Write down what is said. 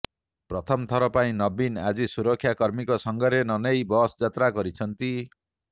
ପ୍ରଥମ ଥର ପାଇଁ ନବୀନ ଆଜି ସୁରକ୍ଷା କର୍ମୀଙ୍କୁ ସାଙ୍ଗରେ ନନେଇ ବସ୍ ଯାତ୍ରା କରିଛନ୍ତି